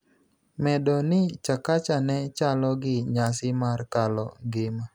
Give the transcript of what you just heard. medo ni Chakacha ne chalo gi nyasi mar kalo ngima,